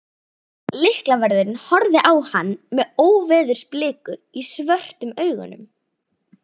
Lyklavörðurinn horfði á hann með óveðursbliku í svörtum augunum.